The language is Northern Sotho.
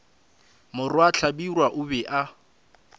morwa hlabirwa o be a